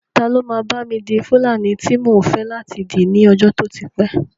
Ta ló máa bá mi di fúlàní tí mò ń fẹ́ láti dì ní ọjọ́ tó ti pẹ́